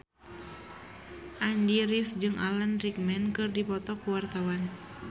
Andy rif jeung Alan Rickman keur dipoto ku wartawan